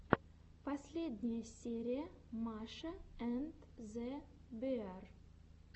последняя серия маша энд зе беар